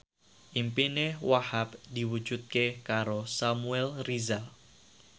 impine Wahhab diwujudke karo Samuel Rizal